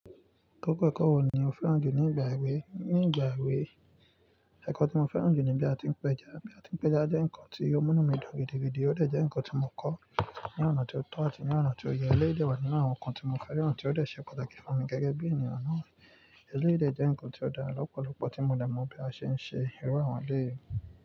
Gẹ́gẹ́ kọ́, ẹ̀kọ́ wo ni o fẹ́ràn jù ní ìgbà èwe? Ní ìgbà èwe, ẹ̀kọ́ tí mo fẹ́ràn jù ni bí a ti ń p'ẹjá, bí a ti ń p'ẹja jẹ́ ǹkan tí ó mú inú mi dùn gidigidi, ó dẹ̀ jẹ́ ǹkan tí mo kọ́ ní ọ̀nà tí ó tọ́ àti ní ọ̀nà tí ó yẹ, eléyì dẹ̀ wà nínú àwọn ǹkan tí mo fẹ́ràn tí ó dẹ̀ ṣe pàtàkì fún mi gẹ́gẹ́ bí ènìyàn náà. Eléyì dẹ̀ jẹ́ ǹkan tí ó dára lọ́pọ̀lọ́pọ̀ tí mo dẹ̀ mọ̀ bí a ṣe ń ṣe, irú àwọn eléyì.